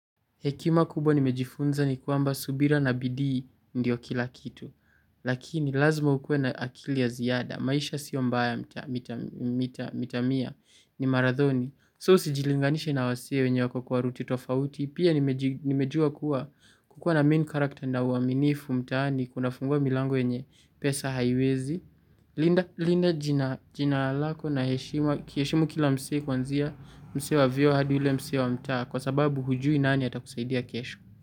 Hekima kubwa nimejifunza ni kwamba subira na bidii ndio kila kitu. Lakini lazima ukuwe na akili ya ziada. Maisha sio mbaya mita mia ni marathoni. So sijilinganishi na wasi wenye wako kwa ruti tofauti. Pia nimejua kuwa kukua na main karakter na uaminifu mtaani kuna fungua milango yenye pesa haiwezi. Linda jina lako na heshima heshima kila msee kuanzia msee wa vyuo hadi ule msee wa mtaa. Kwa sababu hujui nani atakusaidia kesho.